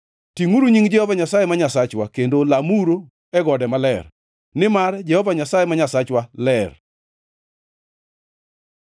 Tingʼuru nying Jehova Nyasaye ma Nyasachwa kendo lamuru e gode maler, nimar Jehova Nyasaye ma Nyasachwa ler.